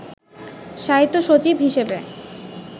সাহিত্য সচিব হিসেবে